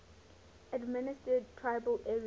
administered tribal areas